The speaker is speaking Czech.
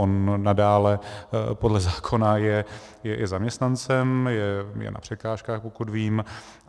On nadále podle zákona je zaměstnancem, je na překážkách, pokud vím.